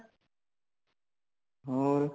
ਹੋਰ